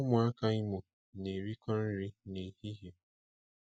Ụmụaka Imo na-erikọ nri n'ehihie.